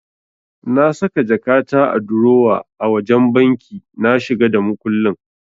Na saka jakata a durowa a wajen banki na shiga da makullin.